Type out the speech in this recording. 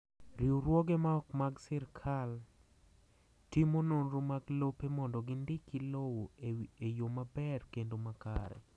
Riwruoge ma ok mag sirkal timo nonro mag lope mondo gi ndiki lowo e yo maber kendo makare.